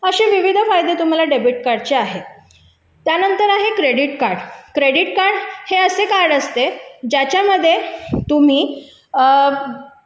असे विविध फायदे तुम्हाला घेता येतात त्यानंतर आहे क्रेडिट कार्ड क्रेडिट कार्ड हे असे कार्ड असते ज्याच्यामध्ये तुम्ही